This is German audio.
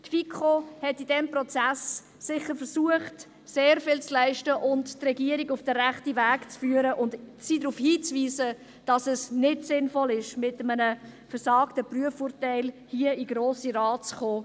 Die FiKo hat in diesem Prozess sicher versucht, sehr viel zu leisten, die Regierung auf den rechten Weg zu führen und sie darauf hinzuweisen, dass es nicht sinnvoll ist, mit einem «versagten» Prüfurteil hier in den Grossen Rat zu kommen.